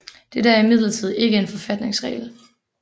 Dette er imidlertid ikke en forfatningsregel